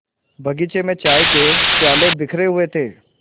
बगीचे में चाय के प्याले बिखरे हुए थे